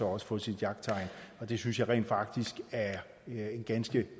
også få sit jagttegn og det synes jeg rent faktisk er en ganske